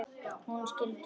Hún skildi það.